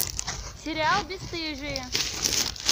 сериал бесстыжие